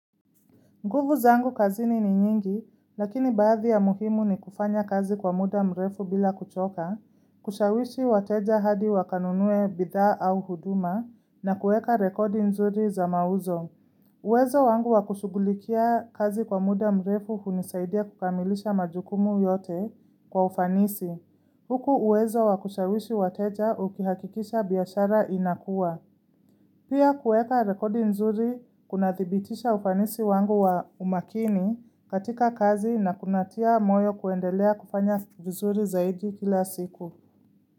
Nguvu zangu kazini ni nyingi, lakini baathi ya muhimu ni kufanya kazi kwa muda mrefu bila kuchoka, kushawishi wateja hadi wakanunue bithaa au huduma, na kueka rekodi nzuri za mauzo. Uwezo wangu wakushugulikia kazi kwa muda mrefu hunisaidia kukamilisha majukumu yote kwa ufanisi. Huku uwezo wakushawishi wateja ukihakikisha biashara inakua. Pia kueka rekodi nzuri kunatibitisha ufanisi wangu wa umakini katika kazi na kunatia moyo kuendelea kupanya vizuri zaidi kila siku.